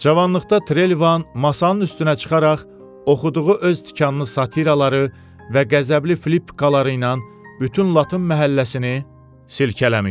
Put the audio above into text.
Cavanlıqda Trelivan masanın üstünə çıxaraq oxuduğu öz tikanlı satiraları və qəzəbli flippikaları ilə bütün latın məhəlləsini silkələmişdi.